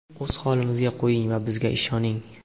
O‘z holimizga qo‘ying va bizga ishoning.